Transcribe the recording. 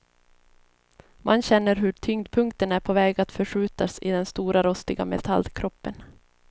Man känner hur tyngdpunkten är på väg att förskjutas i den stora rostiga metallkroppen.